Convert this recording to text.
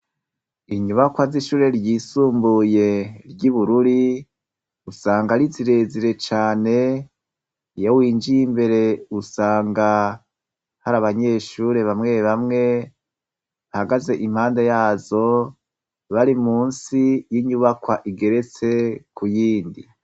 inyubakwa ry'ishure ryisumbuye ry'i Bururi usanga ari zirezire cane iyo winjiye imbere usanga hari abanyeshure bamwe bamwe bahagaze impande yazo bari musi y'inyubakwa igeretse kuyindi